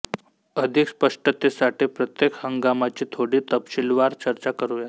अधिक स्पष्टतेसाठी प्रत्येक हंगामाची थोडी तपशीलवार चर्चा करूया